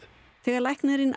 þegar læknirinn